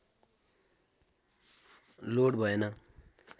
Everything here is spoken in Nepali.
लोड भएन